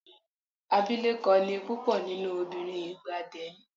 Abilékọ ni púpọ̀ nínú obìnrin ìgbà then.